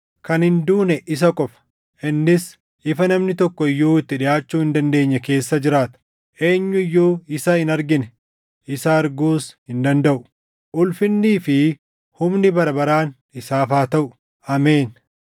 kan hin duune isa qofa; innis ifa namni tokko iyyuu itti dhiʼaachuu hin dandeenye keessa jiraata; eenyu iyyuu isa hin argine; isa arguus hin dandaʼu. Ulfinii fi humni bara baraan isaaf haa taʼu. Ameen.